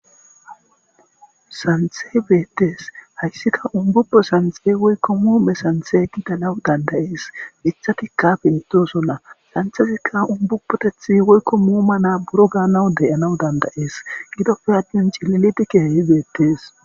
santhe beettees hayssika umbupo santxe woykko muume santhe gidalawu dandayees mithati kafe idosolla santhefekka umbupotethi woykko muuma na buro gaanawu deyanawu dandayees gidoppe addin cillidikehehi beettees